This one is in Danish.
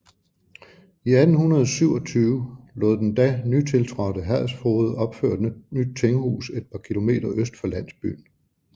I 1827 lod den da nytiltrådte herredsfoged opføre et nyt tinghus et par km øst for landsbyen